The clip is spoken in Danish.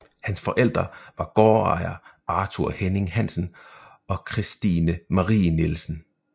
Hans forældre var gårdejer Arthur Henning Hansen og Kristine Marie Nielsen